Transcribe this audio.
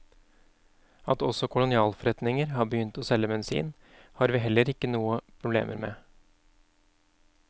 At også kolonialforretninger har begynt å selge bensin, har vi heller ikke noe problemer med.